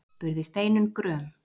spurði Steinunn gröm.